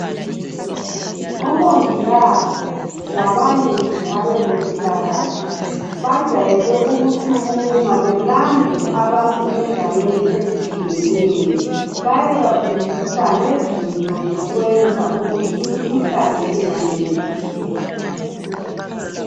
Omongikazi labanye nje abezempilakahle bajayele ukusukuma balande abantu endaweni ezitshiyeneyo befundisa ngezinto zokwenza ukuthi imikhuhlane ingamemetheki